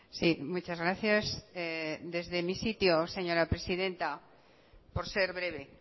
sí muchas gracias desde mi sitio señora presidenta por ser breve